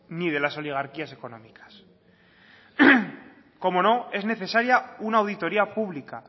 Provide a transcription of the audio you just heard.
ni de las oligarquías económicas cómo no es necesaria una auditoría pública